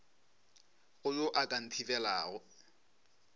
go yo a ka nthibelago